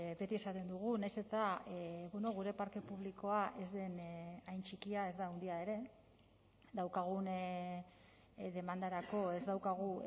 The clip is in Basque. beti esaten dugu nahiz eta gure parke publikoa ez den hain txikia ez da handia ere daukagun demandarako ez daukagu